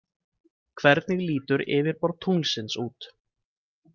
Hvernig lítur yfirborð tunglsins út?